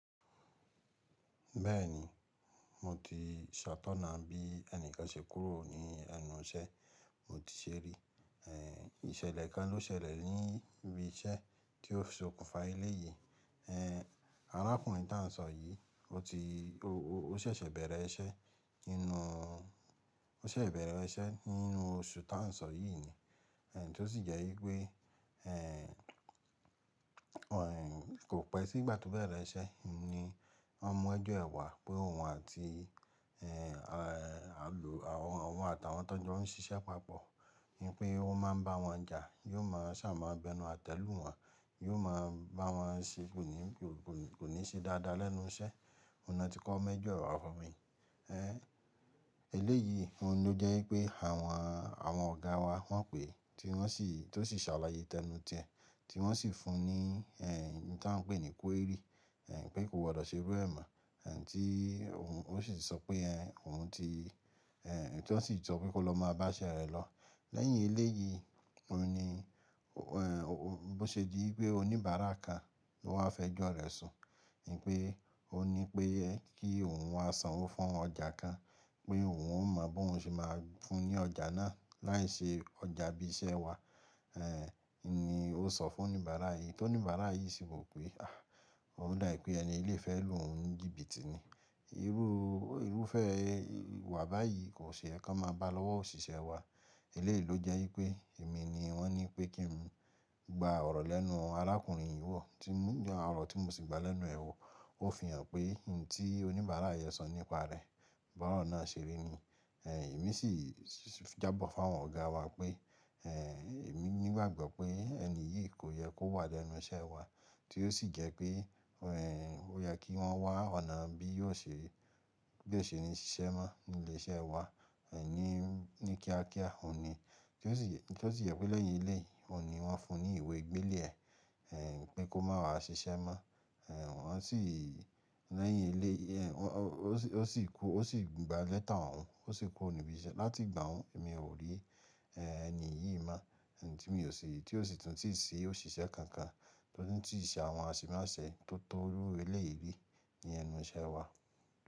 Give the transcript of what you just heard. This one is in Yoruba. Bẹ́ẹ̀ni, mo ti ṣatọ́na bí ẹnìkan ṣe kúrò ní ẹnu iṣẹ́, mo ti ṣerí. È, ìṣẹ̀lẹ̀ kan ló ṣẹlẹ̀ ní ibi iṣẹ́ tí ó sokùnfa ilé yìí. Ehn, arákùnrin ta ń sọ yìí, ó ti ó, ó ṣẹ̀ṣẹ̀ bẹ̀rẹ̀ iṣẹ́ inú, ó ṣẹ̀ṣẹ̀ bẹ̀rẹ̀ iṣẹ́ nínú oṣù ta ń sọ yìí ni. È, tí ó sì jẹ́ wípé, ehn, ọ, kò pẹ́ sí ìgbà tó bẹ̀rẹ̀ iṣẹ́ ni wọ́n mú ẹjọ́ ẹ̀ wá pé òun àti, ehn, àlọ́, àwọn, òun àti àwọn tó ń ṣiṣẹ́ papọ̀, wípé ó máa ń bá wọn jà, yóò máa sààmọ́ bẹ nú àtẹ́ lu wọn, yóò máa bá wọn ṣe kò ní, kò ní ṣe dáadáa lẹ́nu iṣẹ́. Òun ni wọ́n ti kó ẹjọ́ rẹ̀ wá fún mi. Ehn, eléyìí, òun ló jẹ́ wípé àwọn, àwọn ọ̀gáa wa wọ́n pè é, tí wọ́n sì, tó sì sàlàyé tẹnu tí ẹn, tí wọ́n sì fún un ní, ehn, e tí a ń pè ní query, ehn, pé ko wà lọ́ ṣe bẹ́ẹ̀ mọ́. Ehn, tí òun, ó sì sọ pé ẹ́, òun ti, ehn, tí wọ́n sì sọ pé kó lọ máa bá iṣẹ́ rẹ̀ lọ. Lẹ́yìn eléyìí, òun ni, òh, ó, bó ṣe di pé oníbàárà kan ló wá fẹjọ́ rẹ̀ sun. Nípé ó ní pé ẹ kí òun wá sanwó fún ọjà kan, pé òun ò mọ bóun ṣe máa fún un ní ọjà náà láì ṣe ọjà ibi iṣẹ́ wa. Ehn, ni ó sọ fún oníbàárà yìí, tí oníbàárà yìí sì wí pé, "àh, ó dà ẹ́ pé ẹni ilé fẹ́ lù ú n jí bíìtì ni. Irú, irúfẹ́ ìwà báyìí kò ṣe ẹ́ kí wọ́n máa bá lọ́wọ́ òṣìṣẹ́ wa." Eléyìí ló jẹ́ wípé èmi ni wọ́n ní pé kí n gba ọ̀rọ̀ lẹ́nu arákùnrin yìí wọ́, tí mú, ọ̀rọ̀ tí mo sì gba lẹ́nu è wo, ó fi hàn pé e tí oníbàárà yẹn sọ nípa rẹ̀, bọ̀rọ̀ náà ṣeré ni. Ehn, èmi sì jábọ̀ fún àwọn ọ̀gáa wa pé, ehn, èmi ní gbàgbọ́ pé ẹni yìí kò yẹ kó wà lẹ́nu iṣẹ́ wa. Tí ó sì jẹ́ pé, òh, ó yẹ kí wọ́n wá ọ̀nà bí yóò ṣe, yóò ṣe ní ṣiṣẹ́ mọ́ ní ilé iṣẹ́ wa, ehn, ní, ní kíákíá, òun ni. Tí ó sì yẹ́ pé lẹ́yìn eléyìí, òun ni wọ́n fún un ní ìwé gbélé ẹ, ehn, pé kó má wá ṣiṣẹ́ mọ́. Ehn, wọ́n sì lẹ́yìn eléyìí, wọ́n, ó sì kú, ó sì gba lẹ́tà owọn, ó sì kú ro nìbi iṣẹ́. Láti ìgbà wọ́n, èmi ò rí, ehn, ẹni yìí mọ́. Ehn, tí mo ò ṣe, tí ó sì tún ti ṣe òṣìṣẹ́ kankan, tí ó tún ti ṣe àwọn aṣímáyẹ̀sí tó tọ́ lórí ilé yìí ní ẹnu iṣẹ́ wa.